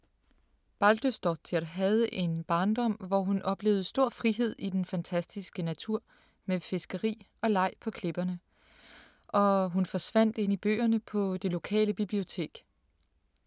Baldursdóttir havde en barndom, hvor hun oplevede stor frihed i den fantastiske natur med fiskeri og leg på klipperne. Og hun forsvandt ind i bøgerne på det lokale bibliotek.